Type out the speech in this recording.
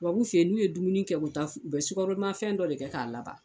Tubabu fɛ yen n'u ye dumuni kɛ ko tan u bɛ sukaroma fɛn dɔ de kɛ k'a laban.